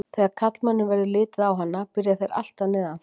Þegar karlmönnum verður litið á hana byrja þeir alltaf neðan frá.